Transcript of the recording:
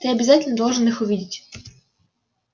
ты обязательно должен их увидеть